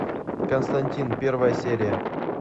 константин первая серия